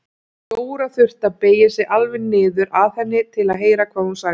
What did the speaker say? Jóra þurfti að beygja sig alveg niður að henni til að heyra hvað hún sagði.